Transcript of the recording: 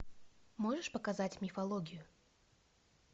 можешь показать мифологию